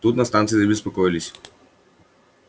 тут на станции забеспокоились